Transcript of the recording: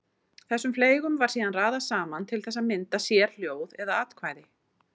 Þessum fleygum var síðan raðað saman til þess að mynda sérhljóð eða atkvæði.